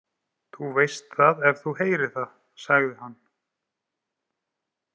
Þú veist það ef þú heyrir það, sagði hann.